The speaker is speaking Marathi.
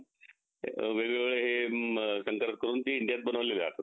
असं असत हा